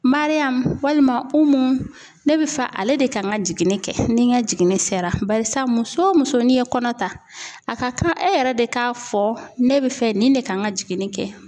Mariyamu walima Umu ne bɛ fa ale de kan ka jiginni kɛ ni n ka jiginni sera, barisa muso o muso n'i ye kɔnɔ ta a ka kan e yɛrɛ de k'a fɔ ne bɛ fɛ nin de kan ka jiginni kɛ .